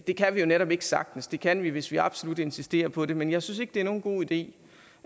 det kan vi jo netop ikke sagtens det kan vi hvis vi absolut insisterer på det men jeg synes ikke det er nogen god idé